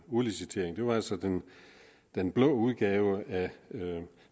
udlicitering det var altså den den blå udgave af